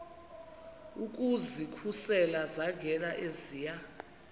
ukuzikhusela zangena eziya